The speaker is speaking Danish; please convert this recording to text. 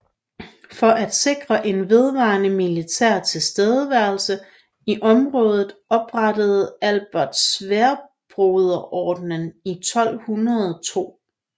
For at sikre en vedvarende militær tilstedeværelse i området oprettede Albert Sværdbroderordenen i 1202